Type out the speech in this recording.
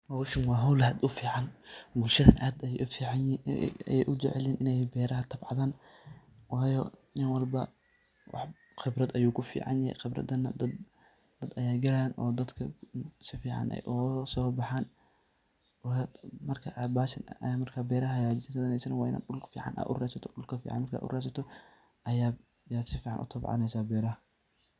Hooshan wa hool aad u fican, bulshada aad Aya u ficanyahin Ina beeraha tabcaan, waayo nin walba wax Qeebrata Aya kuficanyahay qeebrathan dad Aya egayeinsufican Aya UGA so baxaan marka beeraha wa Ina marka sufan u ratsatoh oo sufan u tabcaneeysah beeraha.